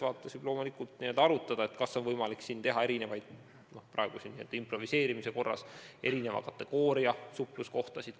Võib loomulikult arutada, kas oleks võimalik eristada – ütlen seda käigu pealt improviseerides – erineva kategooria suhtluskohtasid.